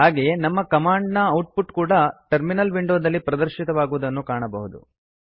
ಹಾಗೆಯೇ ನಮ್ಮ ಕಮಾಂಡ್ ನ ಔಟ್ ಪುಟ್ ಕೂಡಾ ಟರ್ಮಿನಲ್ ವಿಂಡೋದಲ್ಲಿ ಪ್ರದರ್ಶಿತವಾಗುವುದನ್ನು ಕಾಣಬಹುದು